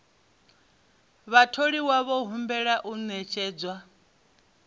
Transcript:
vhatholiwa vho humbelwa u ṅetshedza